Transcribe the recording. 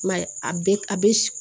I m'a ye a bɛ a bɛ